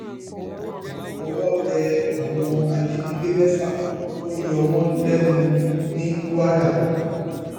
owó tẹ àwọn ajínigbé mẹfà tó ń yọ wọn lẹnu wọn lẹnu ní kwara